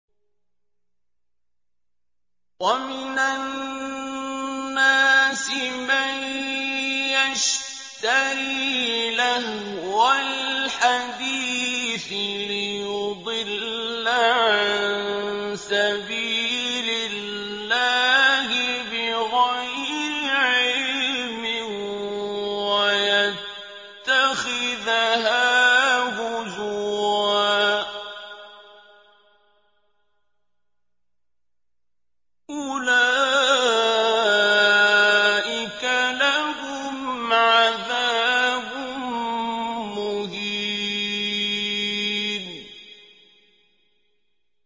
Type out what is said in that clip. وَمِنَ النَّاسِ مَن يَشْتَرِي لَهْوَ الْحَدِيثِ لِيُضِلَّ عَن سَبِيلِ اللَّهِ بِغَيْرِ عِلْمٍ وَيَتَّخِذَهَا هُزُوًا ۚ أُولَٰئِكَ لَهُمْ عَذَابٌ مُّهِينٌ